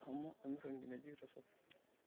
Eshomo amirr nkinejik tesokoni.